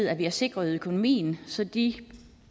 at vi har sikret økonomien så de